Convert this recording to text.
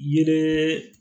Yeee